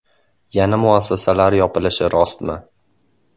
Yana muassasalar yopilishi rostmi?